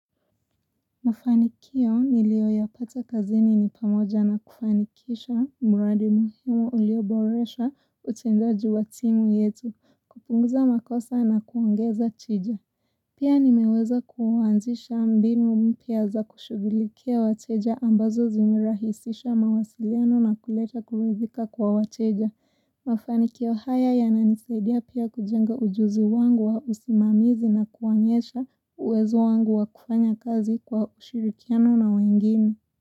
Mafanikio nilioyapata kazini ni pamoja na kufanikisha mradi muhimu ulioboresha utendaji wa timu yetu, kupunguza makosa na kuongeza tija. Pia nimeweza kuanzisha mbinu mpya za kushugilikia wateja ambazo zimerahisisha mawasiliano na kuleta kuridhika kwa wateja. Mafanikio haya yananisaidia pia kujenga ujuzi wangu wa usimamizi na kuonyesha uwezo wangu wa kufanya kazi kwa ushirikiano na wengine.